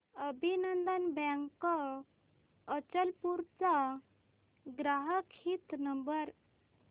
अभिनंदन बँक अचलपूर चा ग्राहक हित नंबर